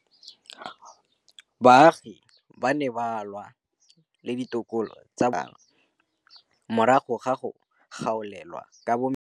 Baagi ba ne ba lwa le ditokolo tsa botsamaisi ba mmasepala morago ga go gaolelwa kabo metsi.